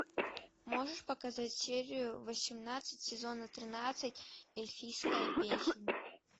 можешь показать серию восемнадцать сезона тринадцать эльфийская песнь